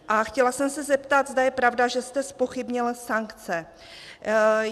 A chtěla jsem se zeptat, zda je pravda, že jste zpochybnil sankce.